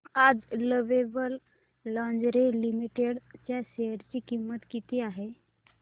आज Lovable Lingerie Limited च्या share ची किंमत किती आहे